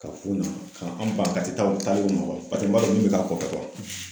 Ka f'u ɲɛna ka an ban ka min bɛ k'a kɔfɛ